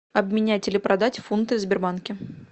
обменять или продать фунты в сбербанке